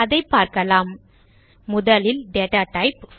அதை பார்க்கலாம் முதலில் டேட்டா டைப்